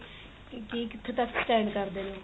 ਕੀ ਕਿੱਥੋ ਤੱਕ stand ਕਰਦੇ ਨੇ ਉਹ